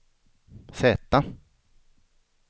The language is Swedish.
Z